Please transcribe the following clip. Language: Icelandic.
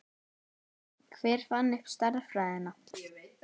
hver fann upp stærðfræðina